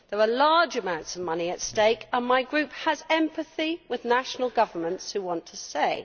There are large amounts of money at stake and my Group has empathy with national governments which want a say.